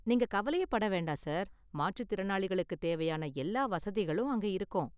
நீங்க கவலையே பட வேண்டாம் சார், மாற்றுத்திறனாளிகளுக்கு தேவையான எல்லா வசதிகளும் அங்கே இருக்கும்.